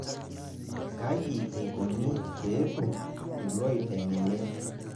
Kaji eikoni peetum ilooiteng'eni